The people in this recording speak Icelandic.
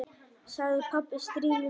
sagði pabbi stríðnislega.